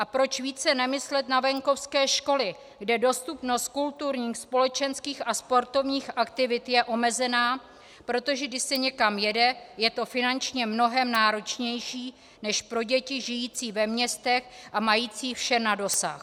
A proč více nemyslet na venkovské školy, kde dostupnost kulturních, společenských a sportovních aktivit je omezená, protože když se někam jede, je to finančně mnohem náročnější než pro děti žijící ve městech a mající vše na dosah.